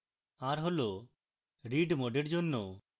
r হল read mode এর জন্য